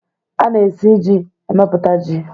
A na-esi ji emepụta ji.